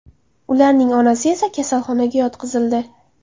Ularning onasi esa kasalxonaga yotqizildi.